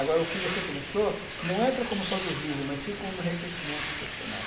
Agora, o que você começou não entra como saudosismo, mas sim como um reconhecimento profissional.